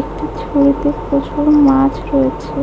একটি ঝুড়িতে প্রচুর মাছ রয়েছে।